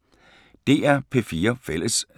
DR P4 Fælles